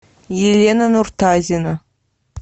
елена нуртазина